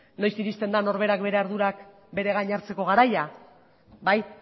noiz iristen da norberak bere ardurak bere gain hartzeko garaia bai